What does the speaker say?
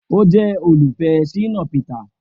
O jẹ olufẹ Shina Peter.